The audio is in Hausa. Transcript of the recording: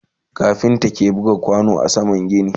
kafinta ke buga kwano a saman gini